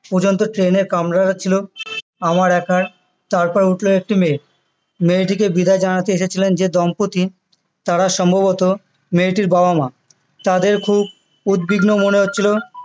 পর্যন্ত train এর কামরাটা ছিল আমার একার তারপর উঠলো একটি মেয়ে মেয়েটিকে বিদায় জানাতে এসেছিলেন যে দম্পতি তারা সম্ভবত মেয়েটির বাবা মা তাদের খুব উদ্বিগ্ন মনে হচ্ছিলো